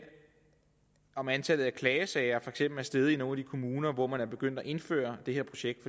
om antallet af klagesager for eksempel er steget i nogle af kommuner hvor man er begyndt at indføre det her projekt